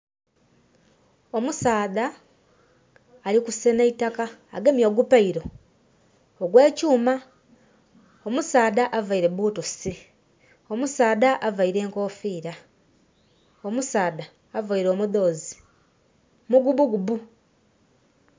Omusaadha ali kusenha itaka. Agemye ogu pail ogw'ekyuuma. Omusaadha availe boots. Omusaadha availe enkoofira. Omusaadha availe omudhoozi mugubugubu.